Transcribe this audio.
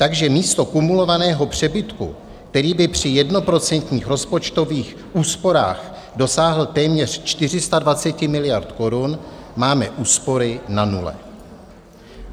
Takže místo kumulovaného přebytku, který by při jednoprocentních rozpočtových úsporách dosáhl téměř 420 miliard Kč, máme úspory na nule.